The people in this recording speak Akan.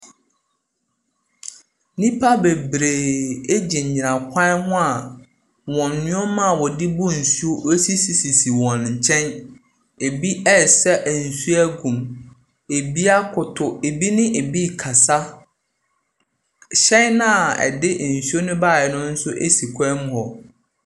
Nnipa bebree gyinagyina kwan ho a wɔn nneɛma a wɔde bu nsuo sisisisi wɔ nkyɛn, bi ɛresa nsuo agu mu, bi akoto, bi ne bi rekasa, hyɛn no a ɛde nsuo no baeɛ no nso gyina kwan mu hɔ.